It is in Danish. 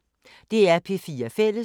DR P4 Fælles